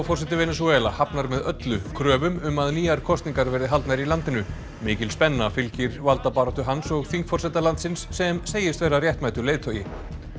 forseti Venesúela hafnar með öllu kröfum um að nýjar kosningar verði haldnar í landinu mikil spenna fylgir valdabaráttu hans og þingforseta landsins sem segist vera réttmætur leiðtogi